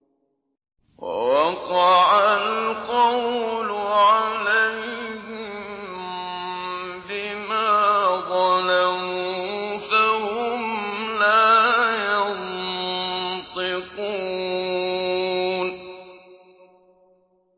وَوَقَعَ الْقَوْلُ عَلَيْهِم بِمَا ظَلَمُوا فَهُمْ لَا يَنطِقُونَ